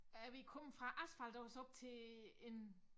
Er vi kommet fra asfalt og så op til en